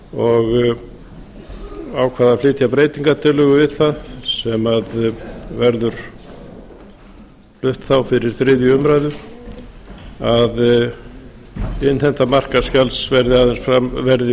og ákvað að flytja breytingartillögu við það sem verður flutt þá fyrir þriðju umræðu að innheimta markaðsgjalds verði